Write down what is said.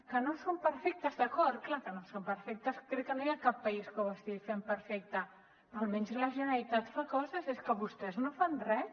que no són perfectes d’acord clar que no són perfectes crec que no hi ha cap país que ho estigui fent perfecte però almenys la generalitat fa coses és que vostès no fan res